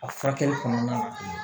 A furakɛli kɔnɔna na